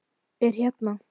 Er hérna.